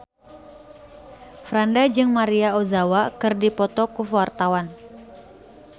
Franda jeung Maria Ozawa keur dipoto ku wartawan